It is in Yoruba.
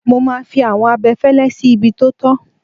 Mo máa fi àwọn abẹfẹ́lẹ́ sí ibi tó tọ́.